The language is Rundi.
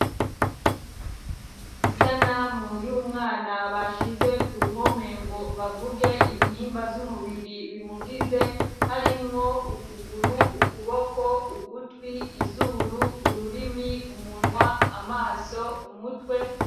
Isanamu y'umwana bashize ku ruhome ngo bavuge ibihimba vy'umubiri bimugize harimwo ukuguru ukuboko ugutwi izuru ururimi umunwa amaso umutwe.